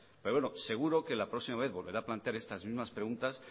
pero bueno seguro que la próxima vez volverá a plantear estas mismas preguntas